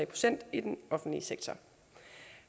procent i den offentlige sektor